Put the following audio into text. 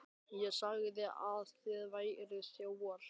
ÉG SAGÐI AÐ ÞIÐ VÆRUÐ ÞJÓFAR.